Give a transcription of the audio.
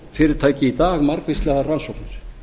fiskvinnslufyrirtæki í dag margvíslegar rannsóknir